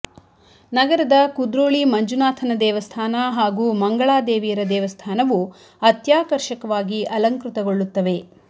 ನಗರದ ಕುದ್ರೋಳಿ ಮಂಜುನಾಥನ ದೇವಸ್ಥಾನ ಹಾಗೂ ಮಂಗಳಾದೇವಿಯರ ದೇವಸ್ಥಾನವು ಅತ್ಯಾಕರ್ಷಕವಾಗಿ ಅಲಂಕೃತಗೊಳ್ಳುತ್ತವೆ